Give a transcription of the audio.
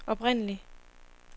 oprindelig